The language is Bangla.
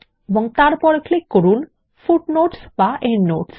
এবং তারপর ক্লিক করুন ফুটনোটস এন্ডনোটস